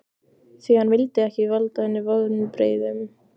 Því hann vildi ekki valda henni vonbrigðum.